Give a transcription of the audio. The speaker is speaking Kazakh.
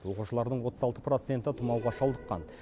оқушылардың отыз алты проценті тұмауға шалдыққан